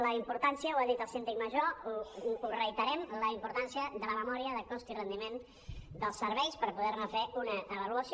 la importància ho ha dit el síndic major ho reiterem de la memòria de cost i rendiment dels serveis per poder·ne fer una avaluació